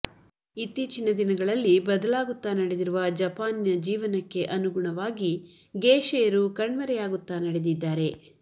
ಇತ್ತೀಚಿನ ದಿನಗಳಲ್ಲಿ ಬದಲಾಗುತ್ತ ನಡೆದಿರುವ ಜಪಾನಿನ ಜೀವನಕ್ಕೆ ಅನುಗುಣವಾಗಿ ಗೇಷೆಯರು ಕಣ್ಮರೆಯಾಗುತ್ತ ನಡೆದಿದ್ದಾರೆ